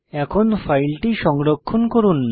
এখন ফাইলটি সংরক্ষণ করুন